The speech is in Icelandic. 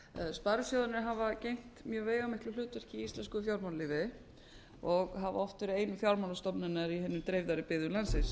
sparisjóðirnir hafa gegnt mjög veigamiklu hlutverki í íslensku fjármálalífi og hafa oft verið ein fjármálastofnun í hinum dreifðari byggðum landsins